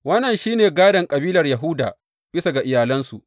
Wannan shi ne gādon kabilar Yahuda bisa ga iyalansu.